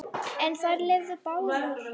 En þær lifðu báðar.